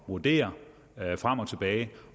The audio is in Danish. vurdere frem og tilbage